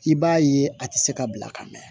I b'a ye a tɛ se ka bila ka mɛn